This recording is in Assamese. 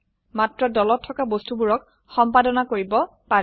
মাত্ৰ দলত থকা বস্তুবোৰক সম্পাদনা কৰিব পাৰে